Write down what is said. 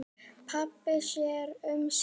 Pabbi sér um sína.